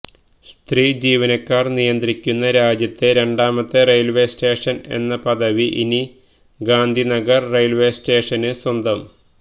സ്ത്രീ ജീവനക്കാര് നിയന്ത്രിക്കുന്ന രാജ്യത്തെ രണ്ടാമത്തെ റെയില്വേ സ്റ്റേഷന് എന്ന പദവി ഇനി ഗാന്ധിനഗര് റെയില്വേ സ്റ്റേഷനു സ്വന്തം